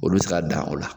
Olu bɛ se ka dan o la